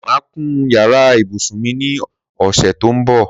Màá kun yàrá ibùsùn mi ní ọ̀sẹ̀ tó ń bọ̀